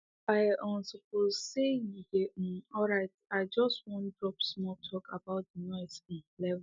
i um hope say you dey um alright i just wan drop small talk about the noise um level